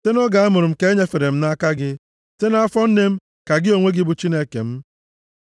Site nʼoge amụrụ m ka e nyefere m nʼaka gị. Site nʼafọ nne m, ka gị onwe gị bụ Chineke m.